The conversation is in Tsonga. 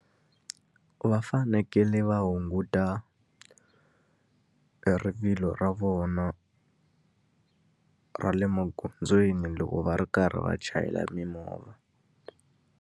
Va fanekele va hunguta e rivilo ra vona ra le magondzweni loko va ri karhi va chayela mimovha.